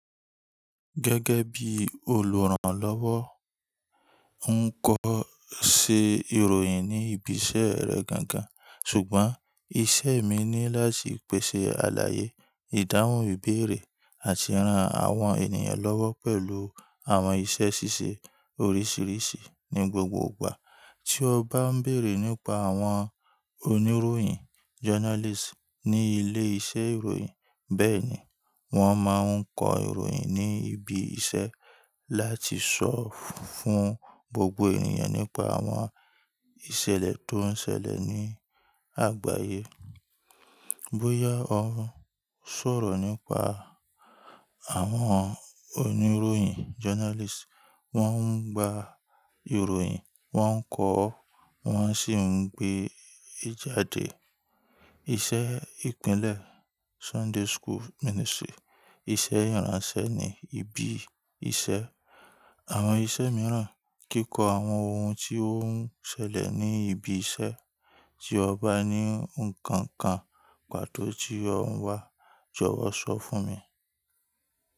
Gẹ́gẹ́ bí olùrànlọ́wọ́, n kọ ṣe ìròyìn ní ibi iṣẹ́ rẹ̀ gangan. Ṣùgbọ́n iṣẹ́ mi ni láti pèsè àlàyé, ìdáhùn ìbéèrè àti rán àwọn ènìyàn lọ́wọ́ pẹ̀lú àwọn iṣẹ́ ṣíṣe oríṣiríṣi ní gbogbo ìgbà. Tí o bá ń bèèrè nípa àwọn oníròyìn journalists ní ilé iṣẹ́ ìròyìn. Bẹ́ẹ̀ ni, wọ́n máa ń kọ ìròyìn ní ibi iṣẹ́ láti sọ fún gbogbo ènìyàn nípa àwọn ìṣẹ̀lẹ̀ tó ń ṣẹlẹ̀ ní àgbáyé. Bóyá ó ń sọ̀rọ̀ nípa àwọn oníròyìn journalists, wọ́n ń gba ìròyìn, wọ́n ń kọ wọ́n sì ń gbé e jáde. Iṣẹ́ ìpínlẹ̀ Sunday school ministry, iṣẹ́ ìránṣẹ́ ni ibi iṣẹ́. Àwọn iṣẹ́ mìíràn kíkọ àwọn ohun tí ó ń ṣẹlẹ̀ ní ibi iṣẹ́. Tí o bá ní ǹkan kan pàtó tí ó ń wá jọ̀wọ́ sọ fún mi.